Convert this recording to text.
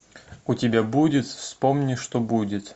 у тебя будет вспомни что будет